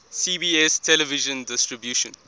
cbs television distribution